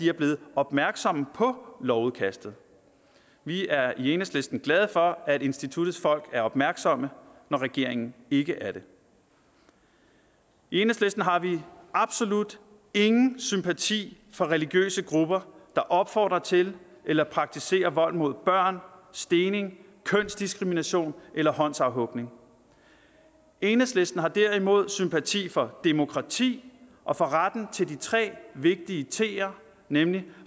er blevet opmærksomme på lovudkastet vi er i enhedslisten glade for at instituttets folk er opmærksomme når regeringen ikke er det i enhedslisten har vi absolut ingen sympati for religiøse grupper der opfordrer til eller praktiserer vold mod børn stening kønsdiskrimination eller håndsafhugning enhedslisten har derimod sympati for demokrati og for retten til de tre vigtige ter nemlig